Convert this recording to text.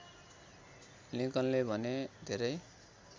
लिंकनले भने धेरै